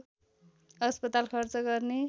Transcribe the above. अस्पताल खर्च गर्ने